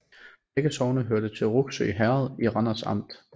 Begge sogne hørte til Rougsø Herred i Randers Amt